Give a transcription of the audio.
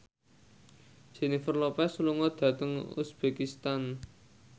Jennifer Lopez lunga dhateng uzbekistan